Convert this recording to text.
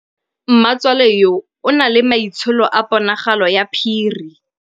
Mmatswale yo, o na le maitsholô a ponagalo ya phiri.